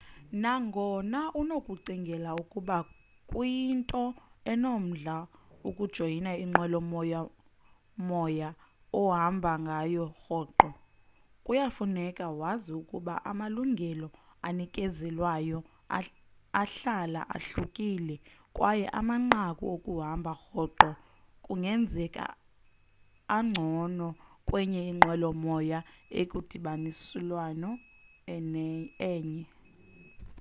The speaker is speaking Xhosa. nangona unokucinga ukuba kuyinto enomdla ukujoyina inqwelo moya moya ohamba ngayo rhoqo kuya kufuneka wazi ukuba amalungelo anikezelwayo ahlala ahlukile kwaye amanqaku okuhamba rhoqo kungenzeka angcono kwenye inqwelo moya ekwindibaniselwano enye